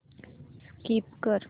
skip कर